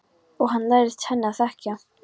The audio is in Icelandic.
Og hann lærðist henni að þekkja.